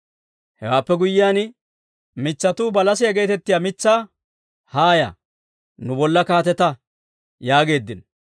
«Hewaappe guyyiyaan, mitsatuu balasiyaa geetettiyaa mitsaa, ‹Haaya, nu bolla kaatetta› yaageeddino.